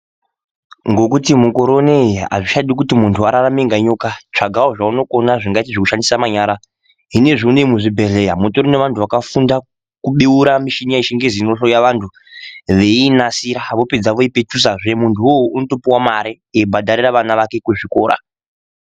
Ngokuti mukore uneyi hazvichadi kuti muntu ararame nga nyoka, tsvagawo zvaunokona zvingaite zvekushandisa manyara. Zvinezvi une iyi muzvibhedhleya, mutori nevantu vakafunda kubeura mishina yeChiNgezi inohloya vantu, veiinasira. Vopedza voipetusazve, muntu uwowo unotopuwa mare eyibhadharira vana vake kuzvikora.